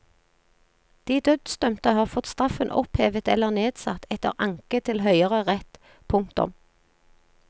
De dødsdømte har fått straffen opphevet eller nedsatt etter anke til høyere rett. punktum